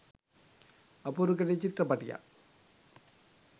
අපූරු කෙටි චිත්‍රපටියක්.